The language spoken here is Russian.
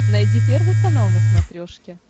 найди первый канал на смотрешке